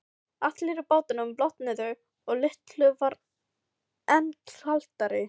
Allir í bátnum blotnuðu og Lillu varð enn kaldara.